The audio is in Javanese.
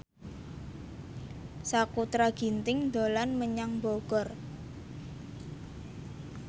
Sakutra Ginting dolan menyang Bogor